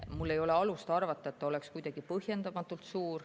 Mul ei ole alust arvata, et see oleks kuidagi põhjendamatult suur.